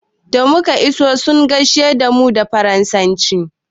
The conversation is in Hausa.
Da muka iso sun gaishe da mu da faransanci.